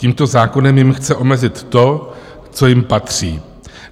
Tímto zákonem jim chce omezit to, co jim patří.